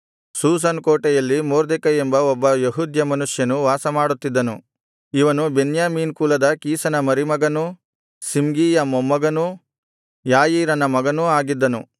Shushan ಕೋಟೆಯಲ್ಲಿ ಮೊರ್ದೆಕೈ ಎಂಬ ಒಬ್ಬ ಯೆಹೂದ್ಯ ಮನುಷ್ಯನು ವಾಸಮಾಡುತ್ತಿದ್ದನು ಇವನು ಬೆನ್ಯಾಮೀನ್ ಕುಲದ ಕೀಷನ ಮರಿಮಗನೂ ಶಿಮ್ಗೀಯ ಮೊಮ್ಮಗನೂ ಯಾಯೀರನ ಮಗನೂ ಆಗಿದ್ದನು